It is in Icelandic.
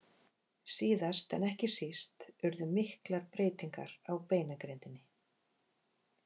Síðast en ekki síst urðu miklar breytingar á beinagrindinni.